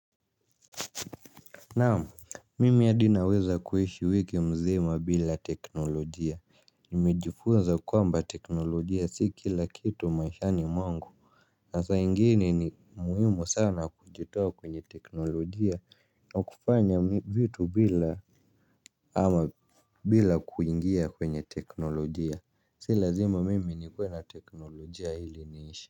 Naam, mimi hadi naweza kuishi wiki mzima bila teknolojia, nimejifuza kwamba teknolojia si kila kitu maishani mwangu. Nasaa ingine ni muhimu sana kujitoa kwenye teknolojia na kufanya vitu bila ama bila kuingia kwenye teknolojia, si lazima mimi nikuwe na teknolojia ili niishi.